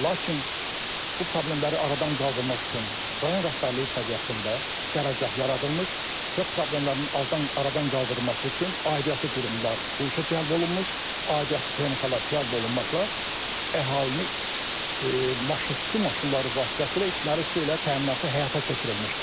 Lakin bu problemləri aradan qaldırmaq üçün rayon rəhbərliyi səviyyəsində qərargah yaradılmış və problemlərin aradan qaldırılması üçün aidiyyatı qurumlar bu işə cəlb olunmuş, aidiyyatı texnikalar cəlb olunmaqla əhalini su maşınları vasitəsilə içməli su ilə təminatı həyata keçirilmişdir.